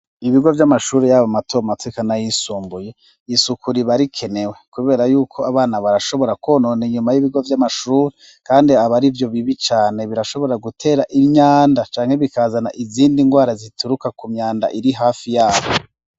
ibigo vy'amashuri yabo matomato eka nayisumbuye isuku ribarikenewe kubera yuko abana barashobora konona inyuma y'ibigo vy'amashuri kandi aba arivyo bibi cane birashobora gutera imyanda cane bikazana izindi ndwara zituruka kumyanda irihafi yabo